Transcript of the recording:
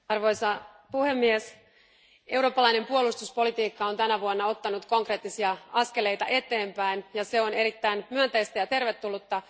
Arvoisa puhemies, eurooppalainen puolustuspolitiikka on tänä vuonna ottanut konkreettisia askeleita eteenpäin ja se on erittäin myönteistä ja tervetullutta.